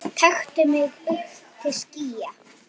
taktu mig upp til skýja